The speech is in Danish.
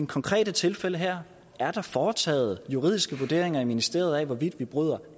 konkrete tilfælde her er der foretaget juridiske vurderinger i ministeriet af hvorvidt vi bryder